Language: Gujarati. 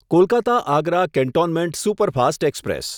Kolkata Agra cantonment superfast express